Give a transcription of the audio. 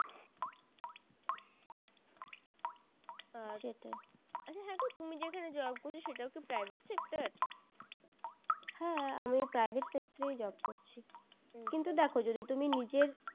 আহ সেটাই আচ্ছা হ্যাঁ গো তুমি যেখানে job করছো সেটাও কি private sector হ্যাঁ আমি private sector এই job করছি কিন্তু দেখো যদি তুমি নিজের